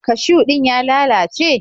Kashiw din ya lalace?